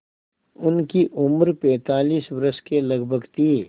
उनकी उम्र पैंतालीस वर्ष के लगभग थी